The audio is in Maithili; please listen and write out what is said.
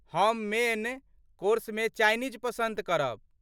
हम मेन कोर्समे चाइनीज पसन्द करब।